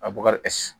A bubakari